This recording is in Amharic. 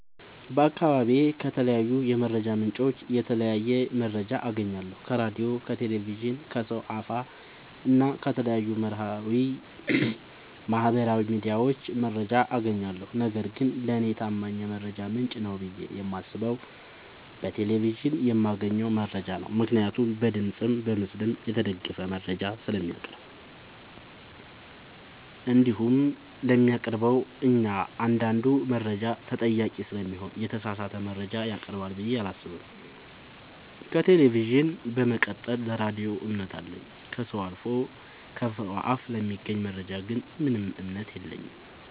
በአካባቢዬ ከተለያዩ የመረጃ ምንጮች የተለያየ መረጃ አገኛለሁ ከራዲዮ ከቴሌቪዥን ከሰው አፋ እና ከተለያዩ ማህበራዊ ሚዲያዎች መረጃ አጋኛለሁ። ነገርግን ለኔ ታማኝ የመረጃ ምንጭ ነው ብዬ የማስበው በቴሌቪዥን የማገኘውን መረጃ ነው ምክንያቱም በድምፅም በምስልም የተደገፈ መረጃ ስለሚያቀርብ። እንዲሁም ለሚያቀርበው እኛአንዳዱ መረጃ ተጠያቂ ስለሚሆን የተሳሳተ መረጃ ያቀርባል ብዬ አላሰብም። ከቴሌቪዥን በመቀጠል ለራዲዮ እምነት አለኝ። ከሰው አፍ ለሚገኝ መረጃ ግን ምንም እምነት የለኝም።